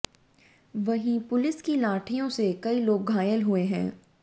वहीं पुलिस की लाठियों से कई लोग घायल हुए हैं